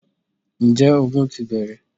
Ǹjẹ́ ogun ti bẹ̀rẹ̀?